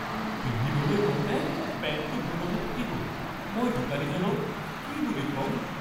পিন্ধিবলৈ লওঁতে পেন্টটো ভুলতে ফালি গ’ল। মই দোকানীজনক কি বুলি ক'ম?